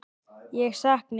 Ég sakna ykkar.